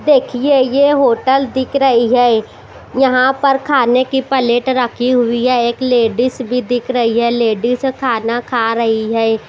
देखिए ये होटल दिख रही है यहां पर खाने की प्लेट रखी हुई है एक लेडिस भी दिख रही है लेडिस खाना खा रही है।